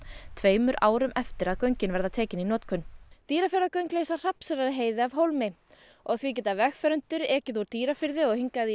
tveimur árum eftir að göngin verða tekin í notkun Dýrafjarðargöng leysa Hrafnseyrarheiði af hólmi og því geta vegfarendur ekið úr Dýrafirði og hingað í